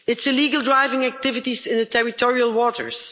Its illegal drilling activities in territorial waters